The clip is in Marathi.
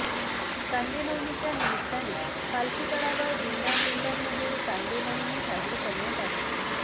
कांदेनवमीच्या निमित्ताने पालखी तळावर दिंड्यादिंड्यांमध्ये कांदेनवमी साजरी करण्यात आली